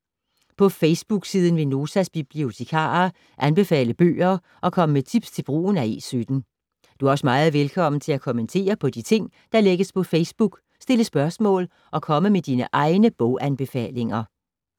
På Facebook-siden vil Notas bibliotekarer anbefale bøger og komme med tips til brugen af E17. Du er også meget velkommen til at kommentere på de ting, der lægges på Facebook, stille spørgsmål og komme med dine egne boganbefalinger.